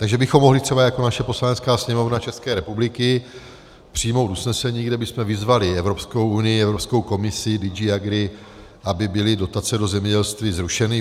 Takže bychom mohli třeba jako naše Poslanecká sněmovna České republiky přijmout usnesení, kde bychom vyzvali Evropskou unii, Evropskou komisi, DG Agri, aby byly dotace do zemědělství zrušeny.